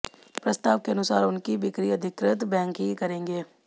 प्रस्ताव के अनुसार उनकी बिक्री अधिकृत बैंक ही करेंगे